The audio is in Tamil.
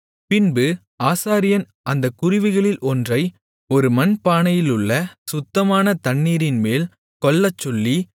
பின்பு ஆசாரியன் அந்தக் குருவிகளில் ஒன்றை ஒரு மண்பானையிலுள்ள சுத்தமான தண்ணீரின்மேல் கொல்லச்சொல்லி